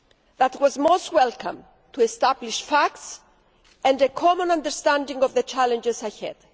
That was most welcome, to establish facts and a common understanding of the challenges ahead.